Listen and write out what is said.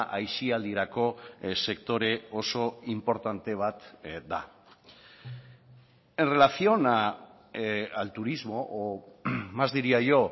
aisialdirako sektore oso inportante bat da en relación al turismo o más diría yo